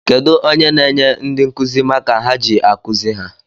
Kedu onye n'enye ndị nkụzi maka ha ji akuzi ha?